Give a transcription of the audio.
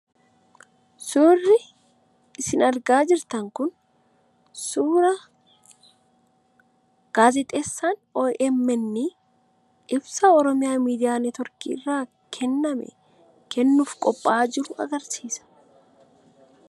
Suurri isin argaa jirtan kun suuraa gaazexeessaan OMN ibsa OMN irraa kenname kennuuf qophaayaa jiru agarsiisa.